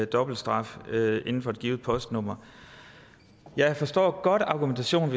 dobbeltstraf inden for et givet postnummer jeg forstår godt argumentationen